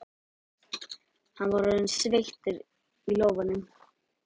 Hann var orðinn sveittur í lófunum.